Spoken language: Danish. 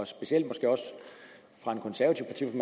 specielt måske også fra en konservativ